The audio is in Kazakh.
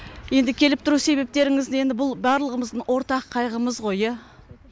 енді келіп тұру себептеріңіз енді бұл барлығымыздың ортақ қайғымыз ғой иә